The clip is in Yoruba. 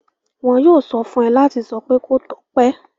Wọn yóò sọ fún ẹ láti sọ pé 'kó tọ́pẹ́'.